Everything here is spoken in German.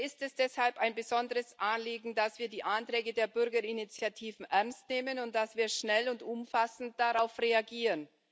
Mir ist es deshalb ein besonderes Anliegen, dass wir die Anträge der Bürgerinitiativen ernst nehmen und dass wir schnell und umfassend darauf reagieren.